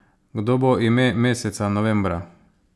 Kdo bo ime meseca novembra?